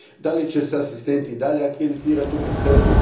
Da li će se asistenti i dalje akreditirati u Bruxellesu?